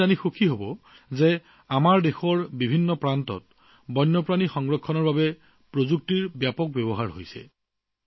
আপোনালোকে জানি আনন্দিত হব যে আমাৰ দেশৰ বিভিন্ন প্ৰান্তত বন্যপ্ৰাণী সংৰক্ষণৰ বাবে প্ৰযুক্তিৰ ব্যাপক ব্যৱহাৰ হৈছে